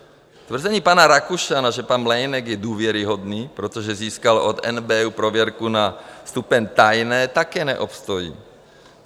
Tvrzení pana Rakušana, že pan Mlejnek je důvěryhodný, protože získal od NBÚ prověrku na stupeň tajné, také neobstojí.